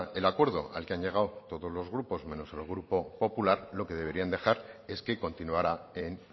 del acuerdo al que han llegado todos los grupos menos el grupo popular lo que deberían dejar es que continuara en